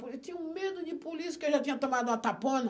Eu tinha medo de polícia, porque eu já tinha tomado uma tapona.